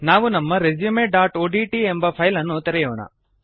ನಾವು ನಮ್ಮ resumeಒಡಿಟಿ ಎಬ ಫೈಲ್ ಅನ್ನು ತೆರೆಯೋಣ